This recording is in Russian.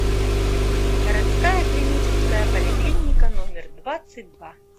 городская клиническая поликлиника номер двадцать два